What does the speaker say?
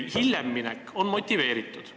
Hiljem minek on aga motiveeritud.